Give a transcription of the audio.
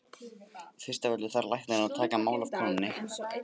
Fyrst af öllu þarf læknir að taka mál af konunni.